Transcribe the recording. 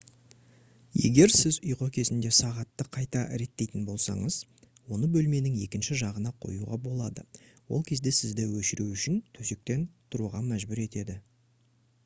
егер сіз ұйқы кезінде сағатты қайта реттейтін болсаңыз оны бөлменің екінші жағына қоюға болады ол кезде сізді өшіру үшін төсектен тұруға мәжбүр етеді